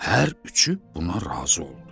Hər üçü buna razı oldu.